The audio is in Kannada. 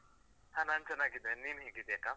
ಹಾ ನಾನ್ ಚೆನ್ನಾಗಿದ್ದೇನ್, ನೀನ್ ಹೇಗಿದ್ಯಾ ಅಕ್ಕ?